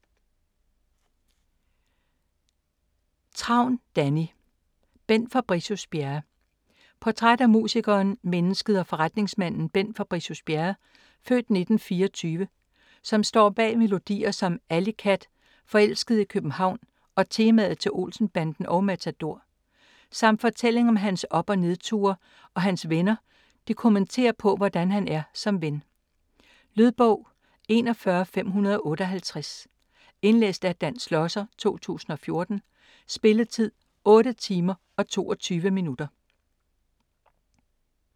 Travn, Danni: Bent Fabricius-Bjerre Portræt af musikeren, mennesket og forretningsmanden Bent Fabricius-Bjerre (f. 1924), som står bag melodier som "Alleycat","Forelsket i København", og temaet til "Olsenbanden" og "Matador". Samt fortælling om hans op- og nedture, og hans venner kommenterer på, hvordan han er som ven. Lydbog 41558 Indlæst af Dan Schlosser, 2014. Spilletid: 8 timer, 22 minutter.